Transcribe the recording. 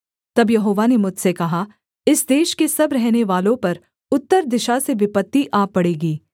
तब यहोवा ने मुझसे कहा इस देश के सब रहनेवालों पर उत्तर दिशा से विपत्ति आ पड़ेगी